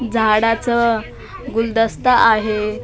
झाडाचं गुलदस्ता आहे .